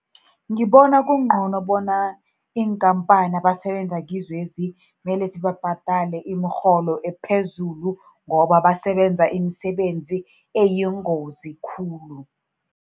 Ngibona kungcono bona iinkampani abasebenza kizo lezi, mele zibabhadale imirholo ephezulu, ngoba basebenza imisebenzi eyingozi khulu.